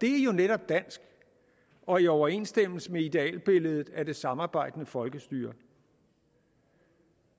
det er jo netop dansk og i overensstemmelse med idealbilledet af det samarbejdende folkestyre